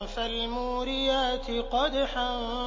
فَالْمُورِيَاتِ قَدْحًا